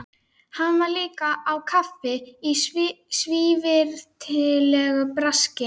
Hann var líka á kafi í svívirðilegu braski.